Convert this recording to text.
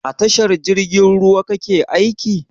A tashar jirgin ruwa kake aiki?